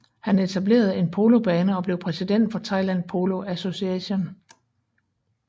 Han etablerede en polobane og blev præsident for Thailand Polo Association